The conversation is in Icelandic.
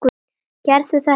Gerðu þetta samt.